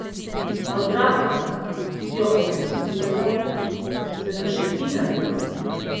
Otrokom, ki jo obiskujejo, se pa še fino zdi.